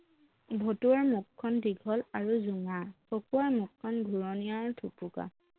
ভতুৱাৰ মুখখন দীঘল আৰু জোঙা খকুৱাৰ মুখখন ঘূৰণীয়া আৰু থুপুকা